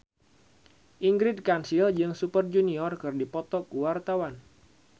Ingrid Kansil jeung Super Junior keur dipoto ku wartawan